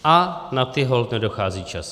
A na ty holt nedochází čas.